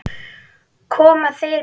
Koma þau með treyju?